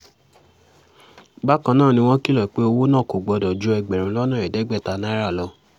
bákan náà ni wọ́n kìlọ̀ pé owó náà kò gbọ́dọ̀ ju ẹgbẹ̀rún lọ́nà ẹ̀ẹ́dẹ́gbẹ̀ta náírà lọ